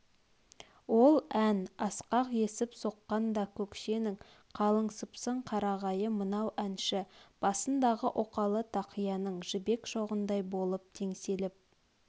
ол ән асқақ есіп соққанда көкшенің қалың сыпсың қарағайы мынау әнші басындағы оқалы тақияның жібек шоғындай болып теңселіп